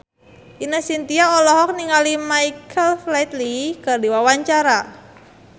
Ine Shintya olohok ningali Michael Flatley keur diwawancara